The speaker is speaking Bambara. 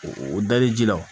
O dali ji la